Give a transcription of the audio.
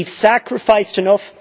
We have sacrificed enough.